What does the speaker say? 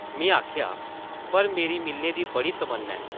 में आखेआ, ‘‘पर मेरी मिलने दी बड़ी तम्मना ऐ !’’